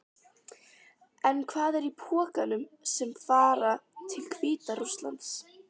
En hvað er í pökkunum sem fara til Hvíta-Rússlands?